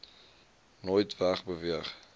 nooit weg beweeg